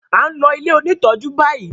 A ló ilẹ òní tọjú bayí